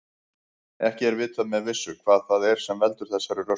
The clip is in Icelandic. Ekki er vitað með vissu hvað það er sem veldur þessari röskun.